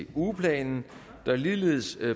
den ugeplan der ligeledes